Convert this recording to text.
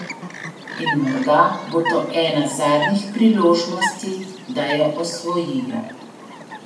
In morda bo to ena zadnjih priložnosti, da jo osvojijo.